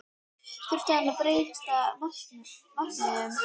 Þurfti að breyta markmiðum?